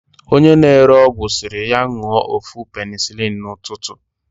onye na-ere ọgwụ siri ya ńụọ ofu penicilin na ututu.